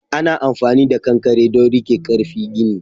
Ana amfani da ƙanƙare don rike karfi gini.